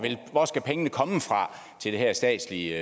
pengene skal komme fra til det her statslige